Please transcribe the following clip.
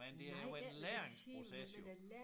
Men det jo en læringsproces jo